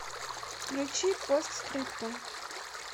включи постскриптум